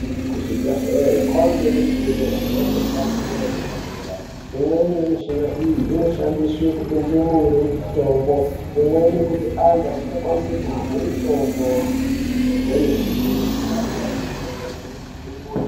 Kuzvibhedhlere kwangemishina yemhando yepamusoro yedera dera. Imweni yemishini iyi inoshandiswe kupe ndumure mutombo. Imweni kupe antu asingakwanisi kurye mitombo kwemene.